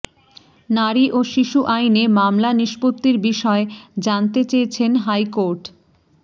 নারী ও শিশু আইনে মামলা নিষ্পত্তির বিষয়ে জানতে চেয়েছেন হাইকোর্ট